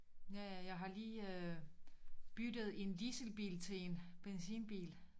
Ja ja jeg har lige øh byttet en dieselbil til en benzinbil